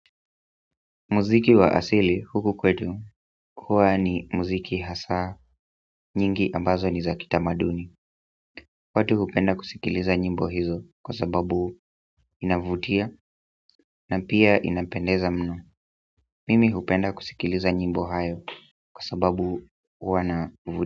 Muziki wa asili huku kwetu huwa ni muziki hasa nyingi ambazo ni za kitamaduni watu hupenda kusikiliza nyimbo hizo kwa sababu inavutia na pia inapendeza mno mimi hupenda kusikiliza nyimbo hayo kwa sababu huwa na mvuto.